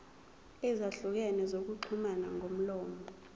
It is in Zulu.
ezahlukene zokuxhumana ngomlomo